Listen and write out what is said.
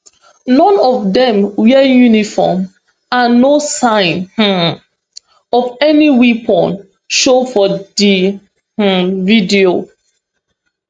none of dem wear uniform and no sign um of any weapons show for di um video